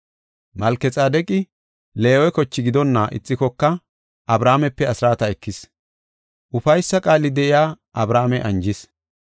Malkexaadeqi Leewe koche gidonna ixikoka Abrahaamepe asraata ekis; ufaysa qaali de7iya Abrahaame anjis.